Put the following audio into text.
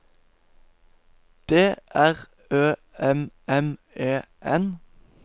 D R Ø M M E N